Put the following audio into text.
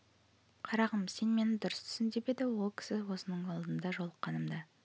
қарағым сен мені дұрыс түсін деп еді ол кісі осының алдында жолыққанымда